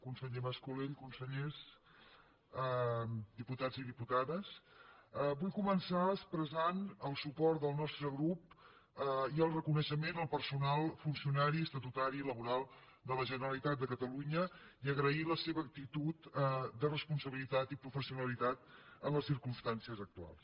conseller mas colell consellers diputats i diputades vull començar expressant el suport del nostre grup i el reconeixement al personal funcionari estatutari i laboral de la generalitat de catalunya i agrair la seva actitud de responsabilitat i professionalitat en les circumstàncies actuals